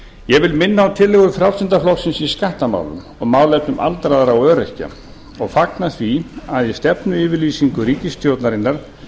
ég vil minna á tillögur frjálslynda flokksins i skattamálum og málefnum aldraðra og öryrkja og fagna því að í stefnuyfirlýsingu ríkisstjórnarinnar